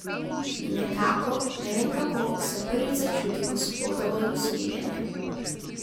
In nekako, ne vem kako, sem prvič začutil Gospodovo usmiljenje.